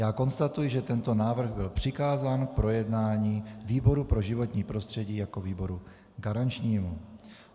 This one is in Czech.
Já konstatuji, že tento návrh byl přikázán k projednání výboru pro životní prostředí jako výboru garančnímu.